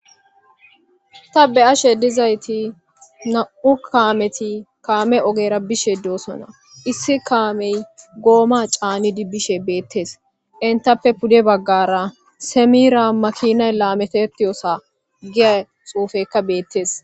Ta be'ashe dizayiti namu kammeti kamme oggera bishshe doosona issi kammey gooma cannidi bishe bettes entappe puude bagara semmira makinay lametetiyosa giya xuffeyka bettes.